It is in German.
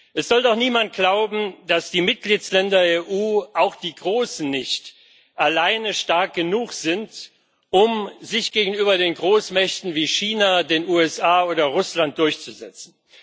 Es soll doch niemand glauben, dass die Mitgliedsländer der EU auch die großen nicht alleine stark genug sind, um sich gegenüber den Großmächten wie China, den USA oder Russland durchzusetzen.